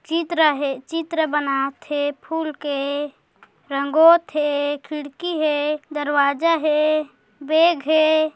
चित्र हे चित्र बनात हे फुल के रंगोत हे खिड़की है दरवाज़ा हे बैग हे।